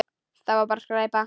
Þetta var bara skræpa.